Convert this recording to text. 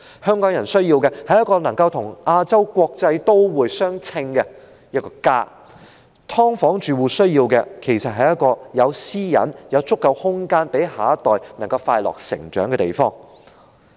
香港人需要的是一個能夠與"亞洲國際都會"相稱的一個家。"劏房"住戶需要的是一個有私隱、有足夠空間讓下一代快樂成長的地方。